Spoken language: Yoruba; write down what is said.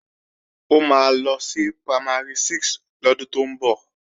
Ó máa lọ sí Primary 6 lọ́dún tó ń bọ̀